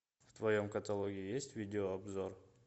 в твоем каталоге есть видео обзор